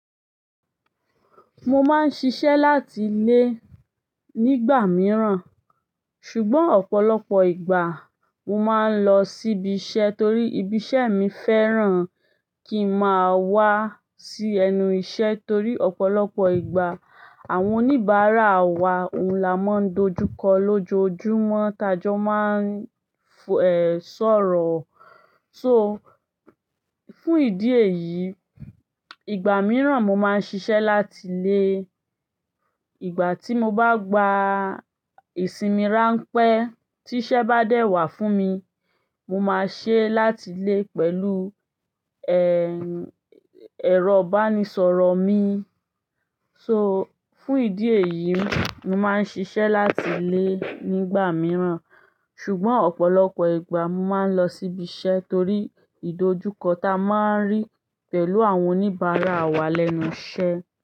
Mo máa ń ṣiṣẹ́ láti lé nígbà mìíràn, ṣùgbọ́n ọ̀pọ̀lọpọ̀ ìgbà mo máa ń lọ síbi iṣẹ́ torí ibi iṣẹ́ mi fẹ́ràn kí n máa wá sí ẹnu iṣẹ́ torí ọ̀pọ̀lọpọ̀ ìgbà àwọn oníbàárà wa ohun la máa ń dojú kọ lójoojúmọ́ tá jọ máa ń sọ̀rọ̀. So, fún ìdí èyí, ìgbà mìíràn mo máa ń ṣiṣẹ́ láti lé. Ìgbà tí mo bá gba ìsinmi ránpẹ́ tí iṣẹ́ bá dẹ̀ wá fún mi, mo máa ṣe é láti lé pẹ̀lú, ehn, ẹ̀rọ ìbánisọ̀rọ̀ mi. So, fún ìdí èyí, mo máa ń ṣiṣẹ́ láti ilé nígbà mìíràn, ṣùgbọ́n ọ̀pọ̀lọpọ̀ ìgbà mo máa ń lọ síbi iṣẹ́ torí ìdojúkọ ta a máa ń rí pẹ̀lú àwọn oníbàárà wa lẹ́nu iṣẹ́